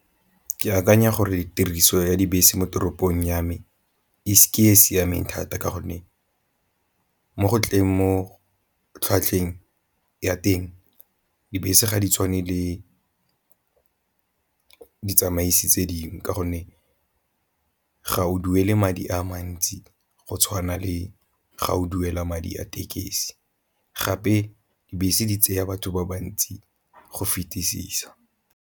Ke akanya gore tiriso ya dibese mo toropong ya me ke e e siameng thata ka gonne mo go tleng mo tlhwatlhweng ya teng dibese ga di tshwane le ditsamaisi tse dingwe ka gonne ga o duele madi a mantsi go tshwana le ga o duela madi a tekesi, gape dibese di tseya batho ba bantsi go fetisisa.